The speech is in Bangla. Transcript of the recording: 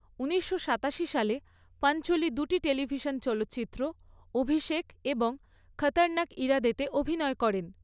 ঊনিশশো সাতাশি সালে, পাঞ্চোলি দুটি টেলিভিশন চলচ্চিত্র, অভিষেক এবং খতরনাক ইরাদেতে অভিনয় করেন।